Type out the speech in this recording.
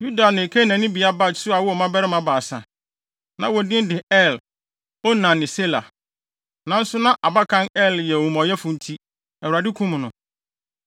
Yuda ne Kanaannibea Bat-Sua woo mmabarima baasa. Na wɔn din de Er, Onan ne Sela. Nanso na abakan Er no yɛ omumɔyɛfo nti, Awurade kum no.